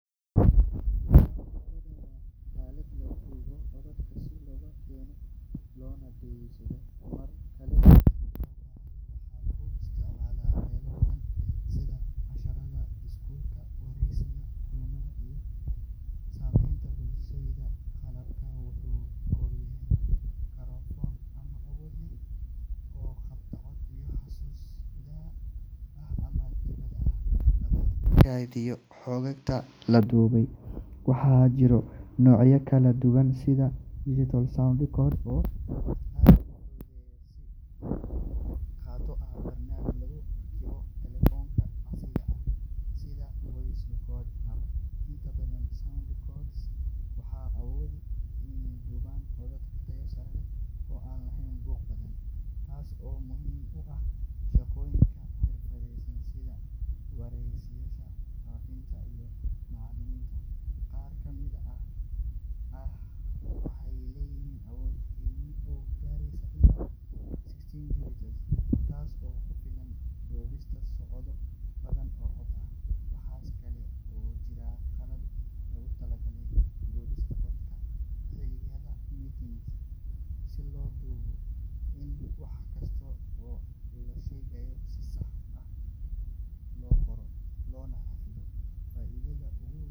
Sound recorder waa aalad lagu duubo codadka si loo keydiyo loona dhegeysto mar kale markii loo baahdo. Waxaa lagu isticmaalaa meelo badan sida casharrada iskuulka, wareysiyada, kulamada, iyo sameynta muusikada. Qalabkani wuxuu ka koobanyahay makarafoon awood leh oo qabta codka, iyo xasuus gudaha ah ama dibadda ah oo lagu kaydiyo xogta la duubay. Waxaa jira noocyo kala duwan sida digital sound recorders oo aad u fudud in la qaato, iyo barnaamijyo lagu rakibo taleefannada casriga ah sida Voice Recorder app. Inta badan sound recorders waxay awoodaan inay duubaan codad tayo sare leh oo aan lahayn buuq badan, taas oo muhiim u ah shaqooyinka xirfadlayaasha sida wariyeyaasha, fanaaniinta, iyo macallimiinta. Qaar ka mid ah aaladahani waxay leeyihiin awood kaydin oo gaaraysa ilaa sixteen gigabytes, taas oo ku filan duubista saacado badan oo cod ah. Waxa kale oo jira qalab loogu talagalay duubista codadka xilliyada meetings si loo hubiyo in wax kasta oo la sheegay si sax ah loo qoro loona xafido. Faa’iidada ugu weyn.